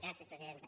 gràcies presidenta